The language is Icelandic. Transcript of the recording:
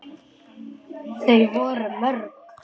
Þau voru mörg.